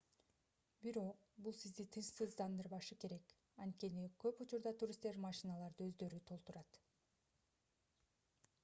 бирок бул сизди тынчсыздандырбашы керек анткени көп учурда туристтер машиналарды өздөрү толтурат